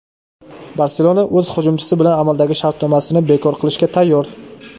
"Barselona" o‘z hujumchisi bilan amaldagi shartnomasini bekor qilishga tayyor;.